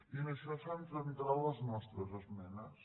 i en això s’han centrat les nostres esmenes